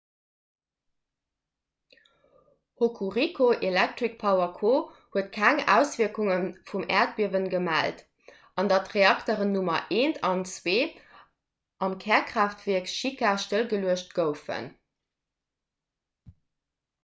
hokuriku electric power co huet keng auswierkunge vum äerdbiewe gemellt an datt d'reakteren nr 1 an 2 am kärkraaftwierk shika stëllgeluecht goufen